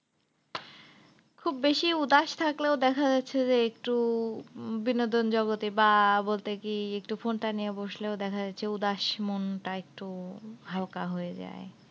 খুব বেশি উদাস থাকলেও দেখা যাচ্ছে যে একটু বিনোদন জগতে বা বলতে কি একটু phone টা নিয়ে বসলেও দেখা যাচ্ছে উদাস মনটা একটু হালকা হয়ে যায়।